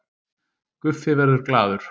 Guffi verður glaður